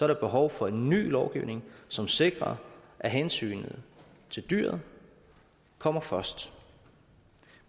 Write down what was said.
der behov for en ny lovgivning som sikrer at hensynet til dyret kommer først